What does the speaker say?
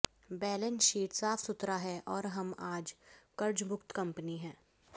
balance sheet साफ सुथरा है और हम आज कर्जमुक्त कंपनी हैं